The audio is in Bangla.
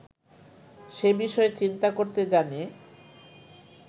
সে বিষয়ে চিন্তা করতে জানে